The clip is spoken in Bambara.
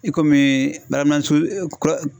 I komi baarakɛ minɛnsugu kura